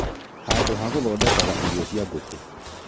Handũ ha gũthondekagĩra irio cia ngũkũ